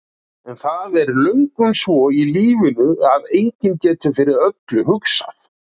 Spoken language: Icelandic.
En það er löngum svo í lífinu að enginn getur fyrir öllu hugsað.